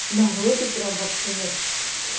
народу прям вообще нет